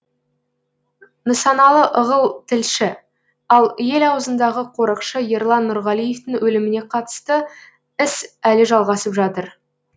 нысаналы ығыл тілші ал ел аузындағы қорықшы ерлан нұрғалиевтің өліміне қатысты іс әлі жалғасып жатыр